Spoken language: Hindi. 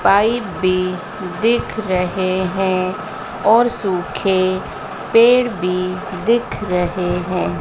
पाइप भी दिख रहे हैं और सूखे पेड़ भी दिख रहे हैं।